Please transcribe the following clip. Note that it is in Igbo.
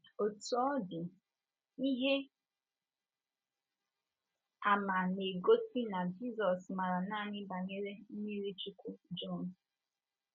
Otú ọ dị, ihe àmà na - egosi na Jizọs maara nanị banyere mmiri Chukwu Jọn. ’